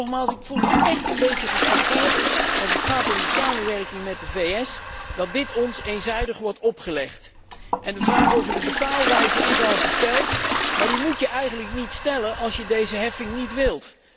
Nogmaals, ik voel mij echt een beetje geschoffeerd in verband met de samenwerking met de VS dat dit ons eenzijdig wordt opgelegd. En de vraag over de betaalwijze is al gesteld, maar die moet je eigenlijk niet stellen als je deze heffing niet wil.